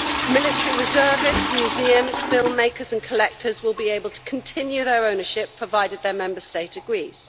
Military reservists, museums, filmmakers and collectors will be able to continue their ownership, provided their Member State agrees.